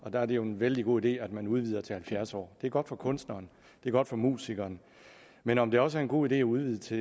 og der er det jo en vældig god idé at man udvider til halvfjerds år det er godt for kunstneren det er godt for musikeren men om det også er en god idé at udvide til